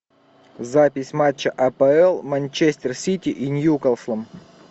запись матча апл манчестер сити и ньюкаслом